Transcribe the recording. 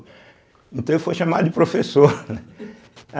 Então ele foi chamado de professor, né.